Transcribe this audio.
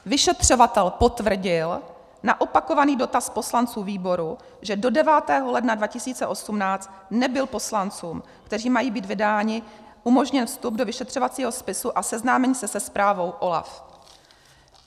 Vyšetřovatel potvrdil na opakovaný dotaz poslanců výboru, že do 9. ledna 2018 nebyl poslancům, kteří mají být vydáni, umožněn vstup do vyšetřovacího spisu a seznámení se se zprávou OLAF.